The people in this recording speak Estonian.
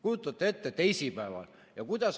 Kujutate ette, teisipäeval.